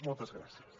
moltes gràcies